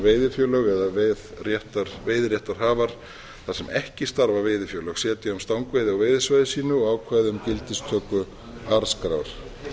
veiðifélög eða veiðiréttarhafar þar sem ekki starfa veiðifélög setja um stangveiði á veiðisvæði sínu og ákvæði um gildistöku arðskrár